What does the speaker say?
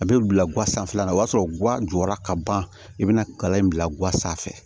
A bɛ bila gan sanfɛla la o y'a sɔrɔ guwan jɔra ka ban i bɛna kalan in bila ga sanfɛ